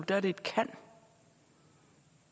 er det et kan